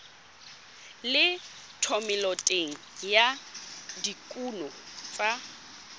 le thomeloteng ya dikuno tsa